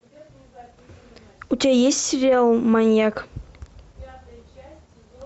у тебя есть сериал маньяк